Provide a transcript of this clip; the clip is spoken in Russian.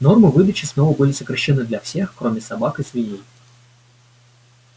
нормы выдачи снова были сокращены для всех кроме собак и свиней